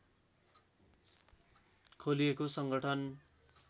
खोलिएको सङ्गठन